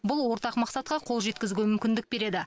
бұл ортақ мақсатқа қол жеткізуге мүмкіндік береді